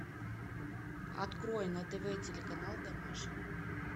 открой на тв телеканал домашний